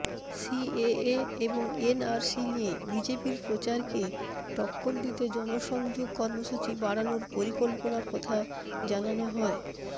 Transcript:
CAA এবং NRC নিয়ে বিজেপির প্রচারকে টক্কর দিতে জনসংযোগ কর্মসূচি বাড়ানোর পরিকল্পনার কথা জানানো হয়